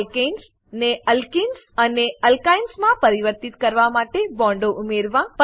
alkanes ને alkenes અને alkynes માં પરિવર્તિત કરવા માટે બોન્ડો ઉમેરવા